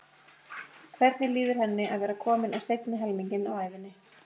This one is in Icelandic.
Hvernig líður henni að vera komin á seinni helminginn af ævinni?